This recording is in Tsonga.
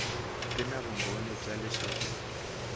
ti na vumbhoni bya leswaku